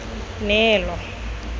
neelo